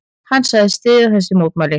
Hann sagðist styðja þessi mótmæli.